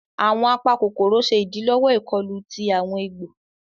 Awọn apakokoro ṣe idilọwọ ikọlù tí awọn egbò.